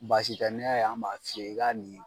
Baasi tɛ n'i y'a ye an m'a f'i ye i ka ɲi